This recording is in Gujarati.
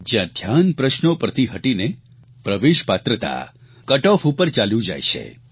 જયાં ધ્યાન પ્રશ્નો પરથી હટીને પ્રવેશ પાત્રતા કટ ઓફ ઉપર ચાલ્યું જાય છે